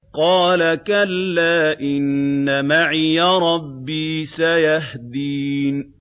قَالَ كَلَّا ۖ إِنَّ مَعِيَ رَبِّي سَيَهْدِينِ